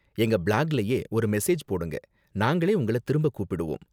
எங்க பிளாக்லயே ஒரு மெசேஜ் போடுங்க, நாங்களே உங்கள திரும்ப கூப்பிடுவோம்.